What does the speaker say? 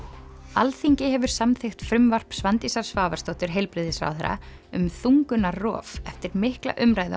Alþingi hefur samþykkt frumvarp Svandísar Svavarsdóttur heilbrigðisráðherra um þungunarrof eftir mikla umræðu